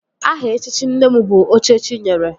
Aha echichi nne m bụ Oche chi nyere